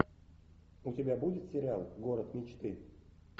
у тебя будет сериал город мечты